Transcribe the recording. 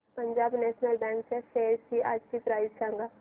Punjab National Bank च्या shares आजची price सांगा